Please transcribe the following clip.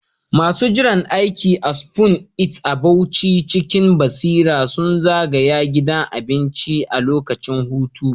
Masu jiran aiki a Spoon It a Bauchi cikin basira sun zagaya gidan cin abincin a lokacin hutu.